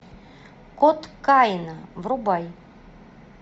код каина врубай